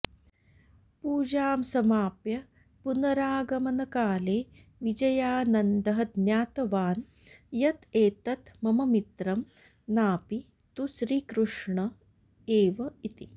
पूजां समाप्य पुनरागमनकाले विजयानन्दः ज्ञातवान् यत् एतत् मम मित्रं नापि तु श्रीकृष्ण एव इति